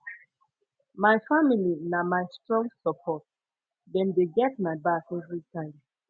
my family na my strong support dem dey get my back everytime